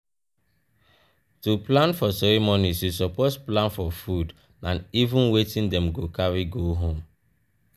to plan for ceremonies you suppose plan for food and even wetin dem go carry go home